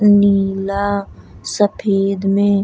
नीला सफेद में --